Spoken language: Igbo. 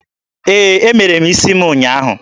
Ee, Emere m isi m ụnyaahụ.